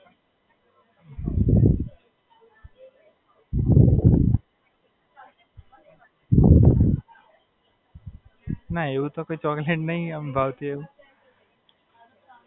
હાં, બરોડા માંજ.